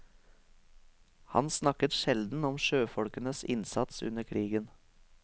Han snakket sjelden om sjøfolkenes innsats under krigen.